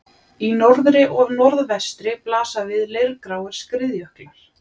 Í norðri og norðvestri blasa við leirgráir skriðjöklar.